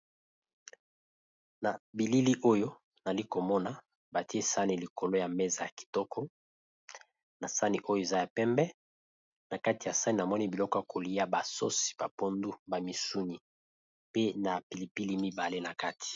na bilili oyo nali komona batie sani likolo ya meza ya kitoko na sani oyo eza ya pembe na kati ya sane amoni biloko kolia basosi bapondu ba misuni pe na pilipili mibale na kati